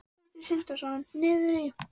Sindri Sindrason: Niður í?